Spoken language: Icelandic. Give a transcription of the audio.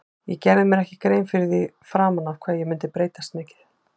Ég gerði mér ekki grein fyrir því fyrir fram hvað ég myndi breytast mikið.